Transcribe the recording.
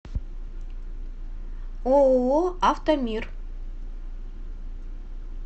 ооо автомир